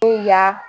Ya